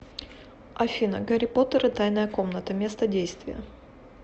афина гарри поттер и тайная комната место действия